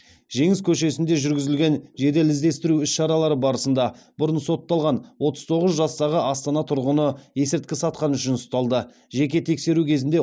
жеңіс көшесінде жүргізілген жедел іздестіру іс шаралары барысында бұрын сотталған отыз тоғыз жастағы астана тұрғыны есірткі сатқаны үшін ұсталды жеке тексеру кезінде